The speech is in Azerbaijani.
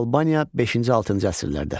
Albaniya V-VI əsrlərdə.